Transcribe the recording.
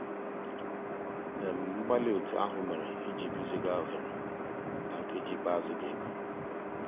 mgbàlí ótú um àhụ́ mérè ìjì gùzíghà óghéré ná nkèjí ikpéázụ́ dị́ égwu.